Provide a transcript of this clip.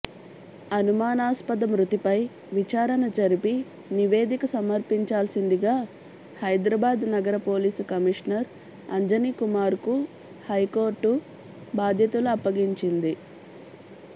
అనుమానాస్పద మృతిపై విచారణ జరిపి నివేదిక సమర్పించాల్సిందిగా హైదరాబాద్ నగర పోలీసు కమిషనర్ అంజనీకుమార్కు హైకోర్టు బాధ్యతలు అప్పగించింది